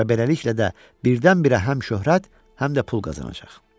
Və beləliklə də, birdən-birə həm şöhrət, həm də pul qazanacaq.